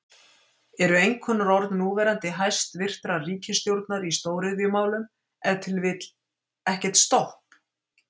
Eru einkunnarorð núverandi hæstvirtrar ríkisstjórnar í stóriðjumálum ef til vill, ekkert stopp?